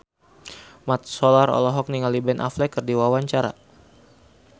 Mat Solar olohok ningali Ben Affleck keur diwawancara